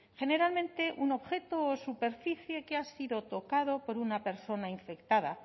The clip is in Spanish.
generalmente un objeto o superficie que ha sido tocado por una persona infectada